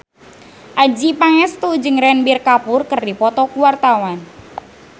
Adjie Pangestu jeung Ranbir Kapoor keur dipoto ku wartawan